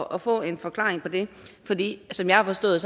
og få en forklaring på det som jeg har forstået